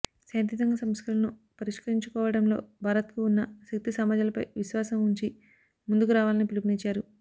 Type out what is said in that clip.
శాంతియుతంగా సమస్యలను పరిష్కరించుకోవడంలో భారత్కు ఉన్న శక్తిసామర్థ్యాలపై విశ్వాసం ఉంచి ముందుకు రావాలని పిలుపునిచ్చారు